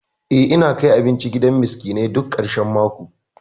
Eh, ina kai abinci gidan miskinai duk ƙarshan mako.